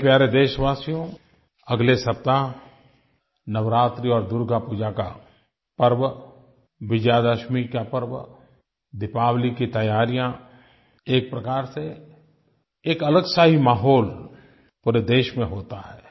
मेरे प्यारे देशवासियो अगले सप्ताह नवरात्रि और दुर्गापूजा का पर्व विजयादशमी का पर्व दीपावली की तैयारियाँ एक प्रकार से एक अलग सा ही माहौल पूरे देश में होता है